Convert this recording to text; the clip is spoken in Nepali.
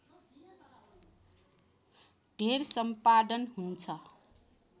धेर सम्पादन हुन्छ